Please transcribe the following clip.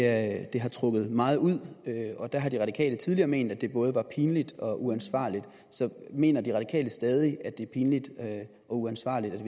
at det har trukket meget ud og der har de radikale tidligere ment at det både er pinligt og uansvarligt så mener de radikale stadig at det er pinligt og uansvarligt